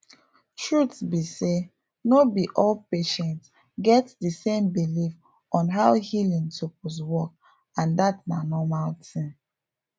truth be sayno be all patients get di same belief on how healing suppose work and dat na normal thing